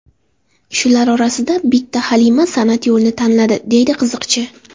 Shular orasida bitta Halima san’at yo‘lini tanladi”, deydi qiziqchi.